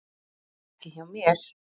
Ekki hjá mér.